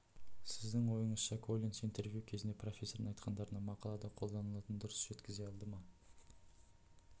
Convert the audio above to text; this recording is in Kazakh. сіздің ойыңызша коллинс интервью кезінде профессордың айтқандары мақалада қолданылатынын дұрыс жеткізе алды ма